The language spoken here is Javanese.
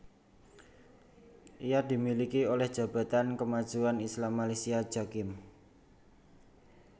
Ia dimiliki oleh Jabatan Kemajuan Islam Malaysia Jakim